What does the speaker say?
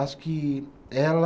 Acho que ela.